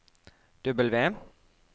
W